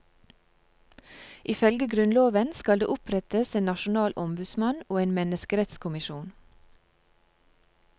Ifølge grunnloven skal det opprettes en nasjonal ombudsmann og en menneskerettskommisjon.